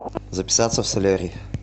записаться в солярий